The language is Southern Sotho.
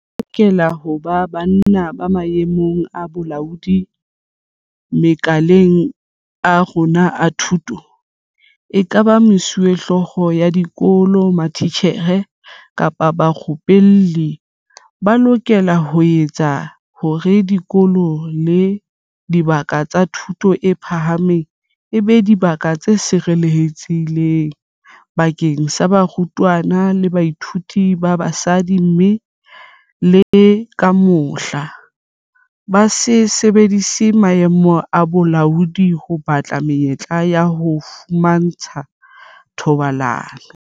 Ho lokela ho ba banna ba maemong a bolaodi makaleng a rona a thuto, ekaba mesuwehlooho ya dikolo, matitjhere kapa barupelli, ba lokelang ho etsa hore dikolo le dibaka tsa thuto e phahameng e be dibaka tse sireletsehileng bakeng sa barutwana le bathuiti ba basadi, mme le ka mohla, ba se sebedise maemo a bolaodi ho batla menyetla ya ho fumantshwa thobalano.